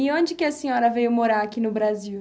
E onde que a senhora veio morar aqui no Brasil?